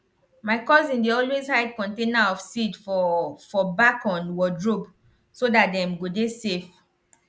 my cousin dey always hide container of seed for for back on wardrobe so dat dem go dey safe